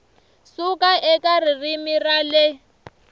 suka eka ririmi ra le